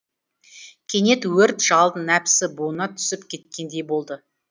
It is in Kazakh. кенет өрт жалын нәпсі буынына түсіп кеткендей болды